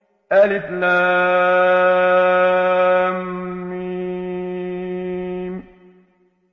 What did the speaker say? الم